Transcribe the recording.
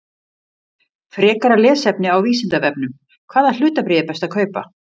Frekara lesefni á Vísindavefnum: Hvaða hlutabréf er best að kaupa?